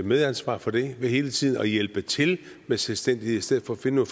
medansvar for det ved hele tiden at hjælpe til med selvstændighed i stedet for at finde